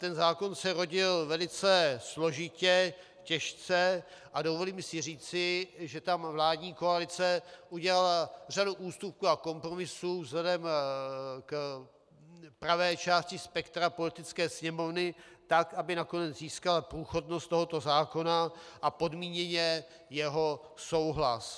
Ten zákon se rodil velice složitě, těžce a dovolím si říci, že tam vládní koalice udělala řadu ústupků a kompromisů vzhledem k pravé části spektra Poslanecké sněmovny, tak aby nakonec získala průchodnost tohoto zákona a podmíněně jeho souhlas.